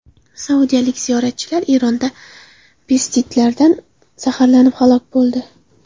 Saudiyalik ziyoratchilar Eronda pestitsidlardan zaharlanib halok bo‘ldi.